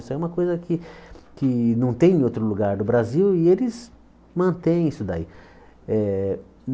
Isso é uma coisa que que não tem em outro lugar do Brasil e eles mantém isso daí. Eh